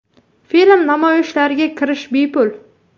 Film namoyishlariga kirish bepul.